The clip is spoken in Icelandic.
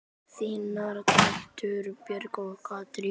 Þínar dætur, Björg og Katrín.